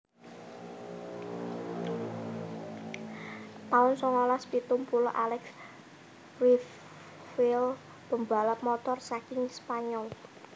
taun songolas pitung puluh Alex Criville pembalap Motor saking Spanyol